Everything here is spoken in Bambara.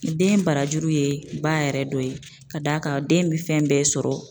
Den barajuru ye ba yɛrɛ dɔ ye ka d'a kan den bɛ fɛn bɛɛ sɔrɔ